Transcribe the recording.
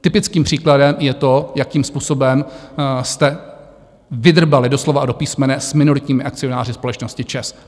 Typickým příkladem je to, jakým způsobem jste vydrbali do slova a do písmene s minoritními akcionáři společnosti ČEZ.